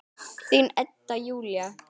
Þín Edda Júlía.